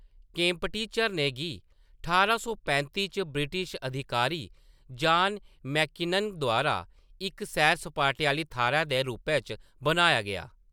केम्पटी झरने गी ठारां सौ पैंती च ब्रिटिश अधिकारी जॉन मेकिनन द्वारा इक सैर-सपाटे आह्‌ली थाह्‌‌‌रै दे रूपै च बनाया गेआ।